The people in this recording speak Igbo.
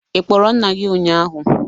Ị kpọrọ nna gị ụnyahụ?